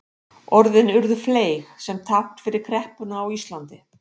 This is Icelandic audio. orðin urðu fleyg sem tákn fyrir kreppuna á íslandi